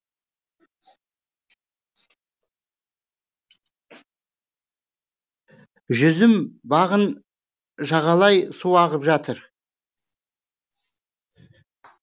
жүзім бағын жағалай су ағып жатыр